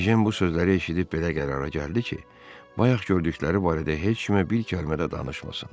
Ejen bu sözləri eşidib belə qərara gəldi ki, bayaq gördükləri barədə heç kimə bir kəlmə də danışmasın.